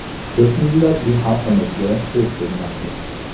Ko‘p millatli xalqimizga ko‘z tegmasin.